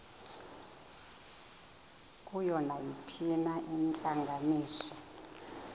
kuyo nayiphina intlanganiso